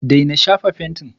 daina shafa fentin!